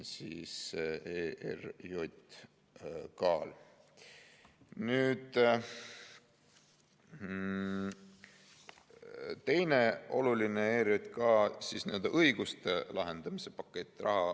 Teine oluline on ERJK õiguste laiendamise pakett.